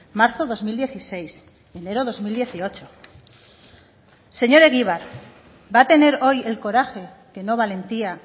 marzo dos mil dieciséis enero dos mil dieciocho señor egibar va a tener hoy el coraje que no valentía